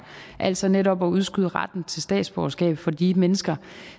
altså netop at udskyde retten til statsborgerskab for de mennesker